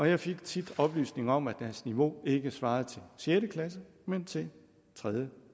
jeg fik tit oplysninger om at deres niveau ikke svarede til sjette klasse men til tredje